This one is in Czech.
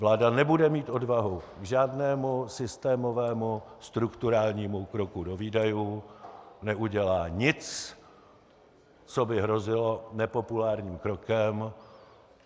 Vláda nebude mít odvahu k žádnému systémovému strukturálnímu kroku do výdajů, neudělá nic, co by hrozilo nepopulárním krokem.